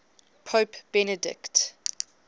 pope benedict